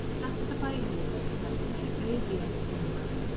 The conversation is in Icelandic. Mér datt þetta bara í hug vegna þess að það er auð jörð núna